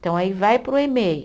Então, aí vai para o Emei.